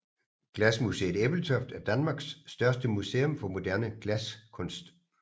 Glasmuseet Ebeltoft er Danmarks største museum for moderne glaskunst